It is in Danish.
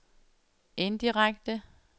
indirekte